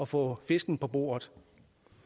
få fisken på bordet